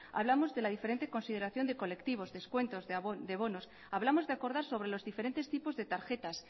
hablamos de la diferente consideración de colectivos descuentos de bonos hablamos de acordar sobre los diferentes tipos de tarjetas